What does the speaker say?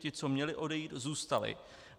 Ti, co měli odejít, zůstali.